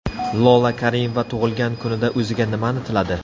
Lola Karimova tug‘ilgan kunida o‘ziga nimani tiladi?